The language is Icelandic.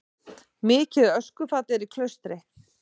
Mikið öskufall á Klaustri